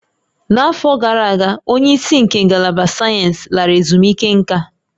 N'afọ gara aga, onye isi nke Ngalaba Sayensị lara ezumike nká